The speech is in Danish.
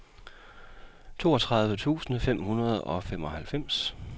toogtyve tusind fem hundrede og femoghalvfems